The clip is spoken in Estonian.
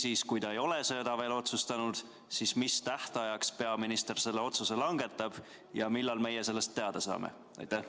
Või kui ta ei ole seda veel otsustanud, siis mis tähtajaks peaminister selle otsuse langetab ja millal meie sellest teada saame?